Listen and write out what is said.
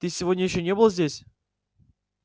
ты сегодня ещё не был здесь